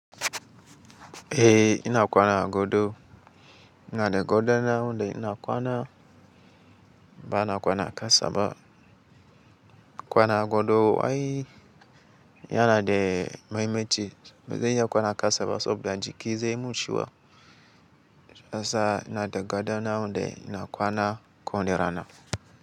Eh ina kwana a godo ina da goda na wande ina kwana ba ina kwana kasa ba. Kwana godo ai yana de mahimmanci ba zai iya kwana kasa ba saboda jiki zai mun cuwo. Shiyasa ina da gado na wande ina kwana kowane rana.